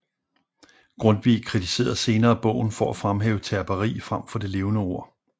Grundtvig kritiserede senere bogen for at fremhæve terperi frem for det levende ord